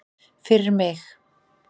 Fyrir mig?